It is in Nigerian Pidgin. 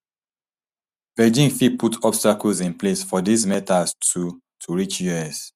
beijing fit put obstacles in place for dis metals to to reach us